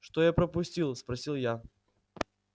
что я пропустил спросил я